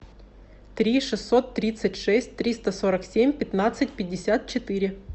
три шестьсот тридцать шесть триста сорок семь пятнадцать пятьдесят четыре